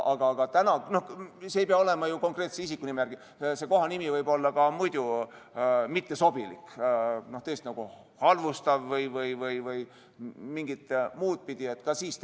See kohanimi ei pea alati olema konkreetse isiku nime järgi pandud, kohanimi võib olla ka muidu mittesobilik, nagu halvustav või mingit muud pidi mittesobiv.